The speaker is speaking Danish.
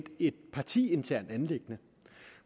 et partiinternt anliggende